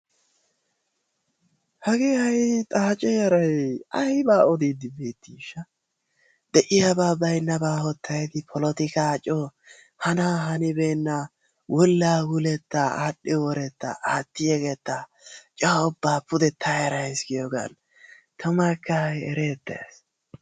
Hagee hayi xaace yarayi aybaa odiiddi beettiishsha de"iyaba baynnabaa hottayidi polotikaa coo hanaa hanibeennaa wullaawulettaa aadhdhi worettaa aatti yegettaa coo ubbaa mule ta erayis giyoogan tumakka hayi ereettes.